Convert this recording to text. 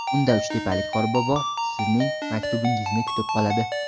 Unda uchtepalik qorbobo sizning maktubingizni kutib qoladi.